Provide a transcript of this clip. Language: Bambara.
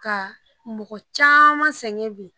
Ka mɔgɔ caaman sɛgɛn bi